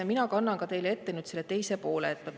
Mina kannan teile ette selle teise poole.